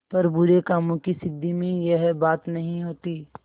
पर बुरे कामों की सिद्धि में यह बात नहीं होती